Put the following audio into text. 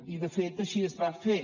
i de fet així es va fer